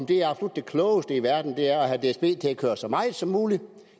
det absolut klogeste i verden er at have dsb til at køre så meget som muligt